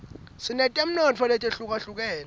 sinetemnotfo letihlukahlukene